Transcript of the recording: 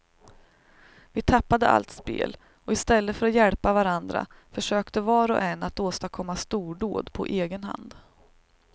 Vi tappade allt spel och i stället för att hjälpa varandra försökte var och en att åstadkomma stordåd på egen hand.